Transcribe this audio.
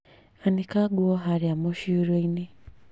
Anĩka nguo harĩa mũcurio-inĩ